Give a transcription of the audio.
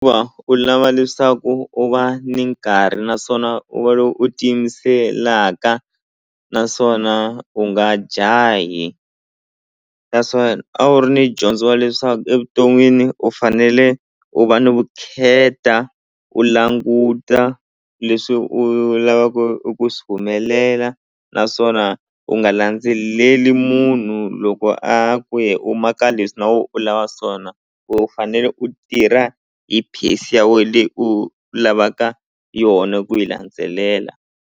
u lava leswaku u va ni nkarhi naswona u va lo u ti yimiseleka naswona u nga jahi naswona a wu ri ni dyondzo leswaku evuton'wini u fanele u va ni vukheta u languta leswi u lavaka eku swi humelela naswona u nga landzeleli munhu loko a ku ye u ma ka leswi na we u lava swona u fanele u tirha hi pace ya we leyi u lavaka yona ku yi landzelela.